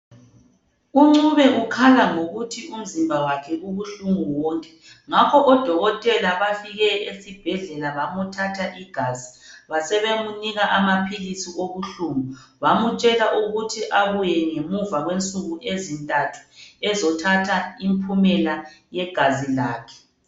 UNcube ukhala ngokuthi umzimba wakhe ubuhlungu wonke ngakho odokotela bafike esibhedlela bamuthatha igazi basebemunika amaphilisi obuhlungu bamutshela ukuthi abuye ngemuva kwensuku ezintathu ezothatha impumela yegazi lakhe.